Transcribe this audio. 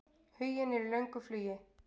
Huginn er í löngu flugi.